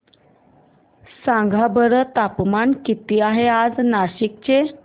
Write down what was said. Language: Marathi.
सांगा बरं तापमान किती आहे आज नाशिक चे